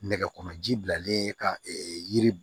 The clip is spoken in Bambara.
Nɛgɛkɔrɔ ji bilalen ka yiri